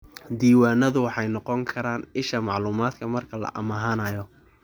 Diiwaanadu waxay noqon karaan isha macluumaadka marka la amaahanayo.